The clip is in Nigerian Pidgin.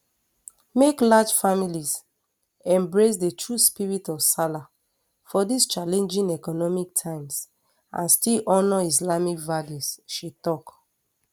make large families embrace di true spirit of sallah for dis challenging economic times and still honour islamic values she tok